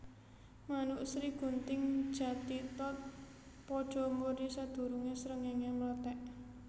Manuk Srigunting Jathithot padha muni sadurungé srengéngé mlethèk